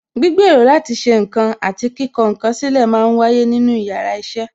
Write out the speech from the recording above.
Gbígbèrò láti ṣe ǹkan àti kíkọ ǹ kan sílè máa ń wáyé nínú yàrá iṣẹ́